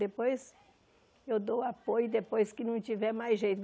Depois eu dou apoio, depois que não tiver mais jeito.